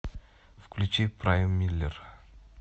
включи прайммиллер